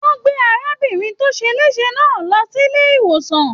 Wọn gbé arábìnrin tó se lésè náà lọ sílé ìwòsàn.